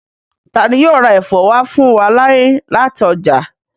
Tani yóò ra ẹfọ wa fun wa ni lati ọja?